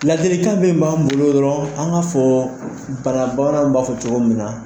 Ladilikan bɛ b'an bolo dɔrɔn an ka fɔ bana bamanan ninnu b'a fɔ cogo min na.